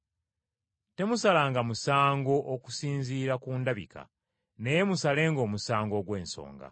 Temusalanga musango okusinziira ku ndabika, naye musalenga omusango ogw’ensonga.”